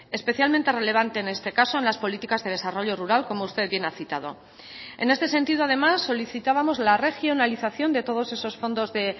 especialmente relevante en este caso en las políticas de desarrollo rural como usted bien ha citado en este sentido además solicitábamos la regionalización de todos esos fondos de